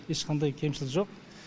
ешқандай кемшілік жоқ